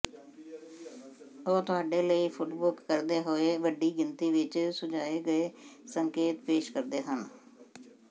ਉਹ ਤੁਹਾਡੇ ਲਈ ਫੁੱਟਬੁੱਕ ਕਰਦੇ ਹੋਏ ਵੱਡੀ ਗਿਣਤੀ ਵਿਚ ਸੁਝਾਏ ਗਏ ਸੰਕੇਤ ਪੇਸ਼ ਕਰਦੇ ਹਨ